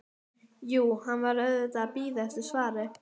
Jú, hún var auðvitað að bíða eftir svari.